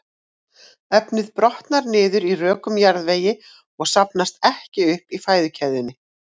Efnið brotnar niður í rökum jarðvegi og safnast ekki upp í fæðukeðjunni.